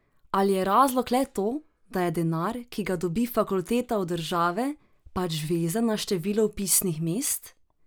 Ali je razlog le to, da je denar, ki ga dobi fakulteta od države, pač vezan na število vpisnih mest?